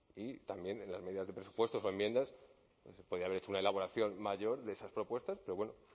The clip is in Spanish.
y también en las medidas de presupuestos o enmiendas podría haber hecho una elaboración mayor de esas propuestas pero bueno